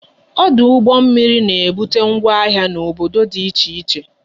Ọdụ ụgbọ mmiri na ebute ngwa ahịa n'obodo dị iche iche